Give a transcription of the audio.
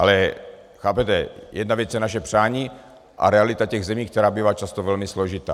Ale chápete, jedna věc je naše přání a realita těch zemí, která bývá často velmi složitá.